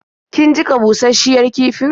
Kin jiƙa bushasshen kifin?